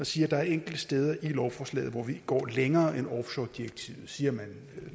sige at der er enkelte steder i lovforslaget hvor vi går længere end offshoredirektivet siger man